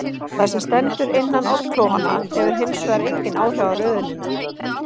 Það sem stendur innan oddklofanna hefur hins vegar engin áhrif á röðunina.